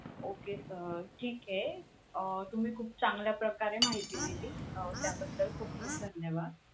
Okay. अं ठीक आहे. अं तुम्ही खूप चांगल्या प्रकारे माहिती दिली अं त्याबद्दल खूप खूप धन्यवाद.